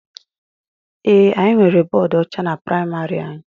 Ee, anyị nwere bọọdu ọcha na praịmarị anyị.